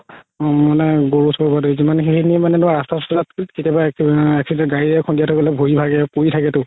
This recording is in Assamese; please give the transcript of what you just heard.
অ নাই গৰু চৰু সেইখিনি মানে ৰাস্তা চাস্তাত কেতিয়াবা accident কেতিয়াবা গাড়ীয়ে খুন্দিয়া থই গ'লে ভৰি ভাগে পৰি থাকেতো